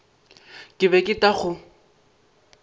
ke be ke tla go